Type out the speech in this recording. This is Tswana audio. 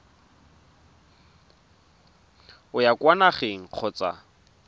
o ya kwa nageng kgotsa